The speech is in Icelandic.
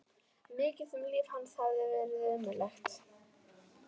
Mikið sem líf hans hafði verið ömurlegt.